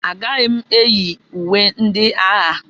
Agaghị m eyi uwe ndị agha.